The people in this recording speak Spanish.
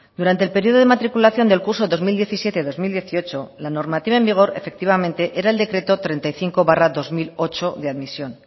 durante el periodo de matriculación del curso dos mil diecisiete dos mil dieciocho la normativa en vigor efectivamente era el decreto treinta y cinco barra dos mil ocho de admisión